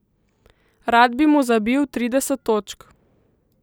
Rad bi mu zabil trideset točk.